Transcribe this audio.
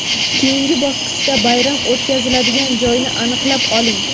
Keyingi bosqichda bayram o‘tkaziladigan joyni aniqlab oling.